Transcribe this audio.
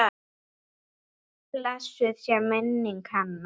Blessuð sé minning hennar.